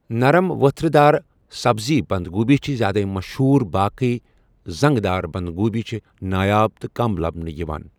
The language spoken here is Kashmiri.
نَرٕم ؤتھٕر دار، سَبٕز بَنٛدگوٗپی چھِ زیادے مَشہوٗر باقٕے زَنٛگہٕ دار بَنٛدگوٗپی چھِ نایاب تہٕ کَم لَبنہٕ یِوان۔